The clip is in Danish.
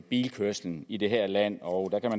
bilkørslen i det her land og